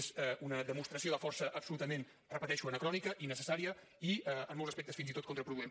és una demostració de força absolutament ho repeteixo anacrònica innecessària i en molts aspectes fins i tot contraproduent